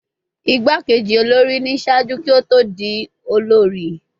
Igbakeji olori ni ṣaaju ki o to di olori